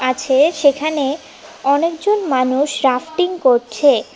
সে সেখানে অনেকজন মানুষ রাফটিং করছে।